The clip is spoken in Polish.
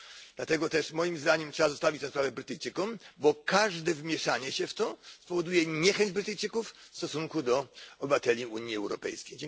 Dlatego też moim zdaniem trzeba zostawić tę sprawę Brytyjczykom, bo każde mieszanie się w to spowoduje niechęć Brytyjczyków w stosunku do obywateli Unii Europejskiej.